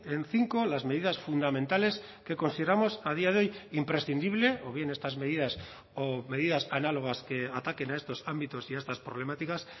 en cinco las medidas fundamentales que consideramos a día de hoy imprescindible o bien estas medidas o medidas análogas que ataquen a estos ámbitos y a estas problemáticas